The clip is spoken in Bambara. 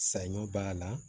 Saɲɔ b'a la